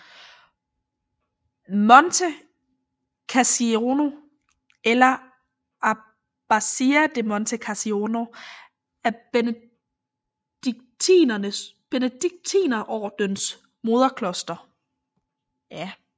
Monte Cassino eller Abbazia di Monte Cassino er Benediktinerordenens moderkloster